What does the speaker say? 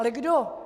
Ale kdo?